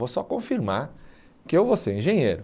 Vou só confirmar que eu vou ser engenheiro.